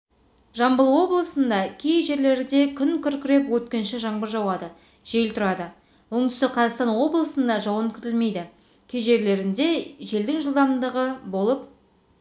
жамбыл облысында кей жерлерде күн күркіреп өткінші жаңбыр жауады жел тұрады оңтүстік қазақстан облысында жауын күтілмейді кей жерлерінде желдің жылдамдығы болып